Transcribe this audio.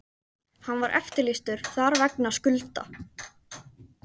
Hann var eftirlýstur þar vegna skulda.